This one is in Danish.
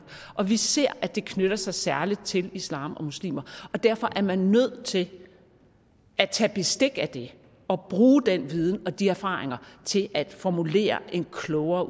og vi ser at det knytter sig særlig til islam og muslimer og derfor er man nødt til at tage bestik af det og bruge den viden og de erfaringer til at formulere en klogere